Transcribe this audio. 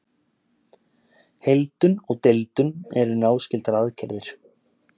Heildun og deildun eru náskyldar aðgerðir.